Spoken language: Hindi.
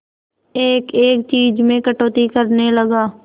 एक एक चीज में कटौती करने लगा